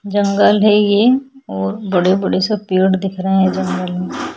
जंगल है ये और बड़े-बड़े से पेड़ दिख रहे है जंगल में--